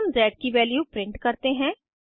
फिर हम ज़ की वैल्यू प्रिंट करते हैं